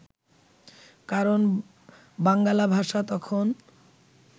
কারণ বাঙ্গালা ভাষা তখন